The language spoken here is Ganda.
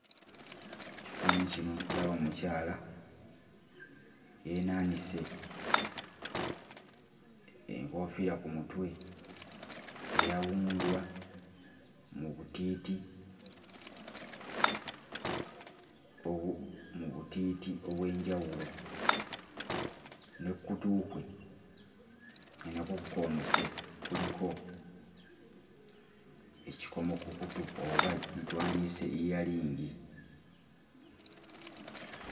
Ekifaananyi kino ndaba omukyala yeenaanise enkoofiira ku mutwe eyawundwa mu butiiti obu mu butiiti obw'enjawulo ne kkutu kwe nga nakwo kukoonose kuliko ekikomo ku kutu oba gye twandiyise yiyalingi.